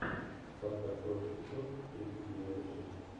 спартак кровь и песок тридцать девятая часть